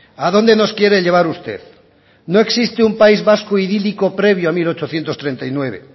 a dónde nos quiere llevar usted no existe un país vasco idílico previo a mil ochocientos treinta y nueve